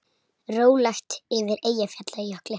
Rólegt yfir Eyjafjallajökli